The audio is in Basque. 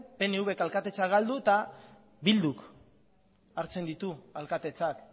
pnvk alkatetza galdu eta bilduk hartzen ditu alkatetzak